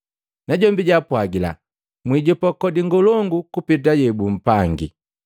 Najombi jwaapwagila, “Mwijopa kodi ngolongu kupeta yebupangi.”